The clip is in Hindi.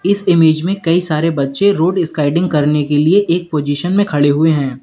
इस इमेज में कई सारे बच्चे रोड स्काइडिंग करने के लिए एक पोजीशन में खड़े हुए हैं।